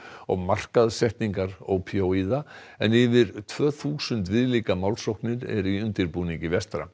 og markaðssetningar ópíóíða en yfir tvö þúsund viðlíka málsóknir eru í undirbúningi vestra